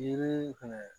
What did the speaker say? Yiri fɛnɛ